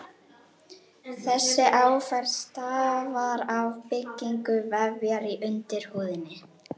Þessi áferð stafar af byggingu vefja í undirhúðinni.